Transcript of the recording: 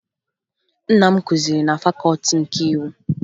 Nna m kụziri na Fakọọti nke Iwu